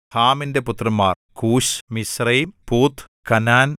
ഹാമിന്റെ പുത്രന്മാർ Cush Mizraim Put Canaan